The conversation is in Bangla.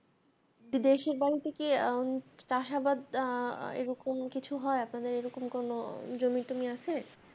দেশের বাড়িতে কি উম চাষাবাদ এরকম কিছু হয় আপনাদের এরকম কোনও জমি টমি আছে